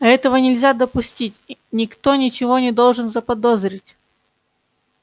а этого нельзя допустить никто ничего не должен заподозрить